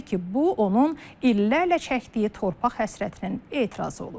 Təbii ki, bu onun illərlə çəkdiyi torpaq həsrətinin etirazı olub.